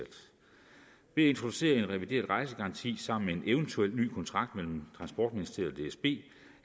introducere en revideret rejsegaranti sammen med en eventuel ny kontrakt mellem transportministeriet og dsb